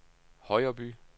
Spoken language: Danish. Højreby